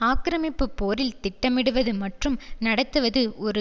ஆக்கிரமிப்பு போரில் திட்டமிடுவது மற்றும் நடத்துவது ஒரு